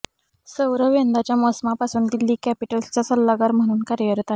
सौरव यंदाच्या मोसमापासून दिल्ली कॅपिटल्सचा सल्लागार म्हणून कार्यरत आहे